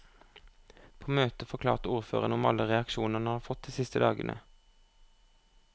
På møtet forklarte ordføreren om alle reaksjonene han har fått de siste dagene.